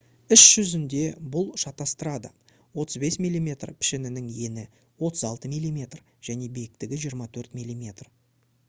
іс жүзінде бұл шатастырады 35 мм пішімінің ені 36 мм және биіктігі 24 мм